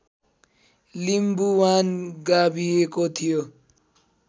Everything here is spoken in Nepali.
लिम्बुवान गाभिएको थियो